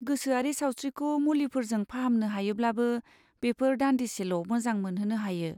गोसोआरि सावस्रिखौ मुलिफोरजों फाहामनो हायोब्लाबो, बेफोर दानदिसेल' मोजां मोनहोनो हायो।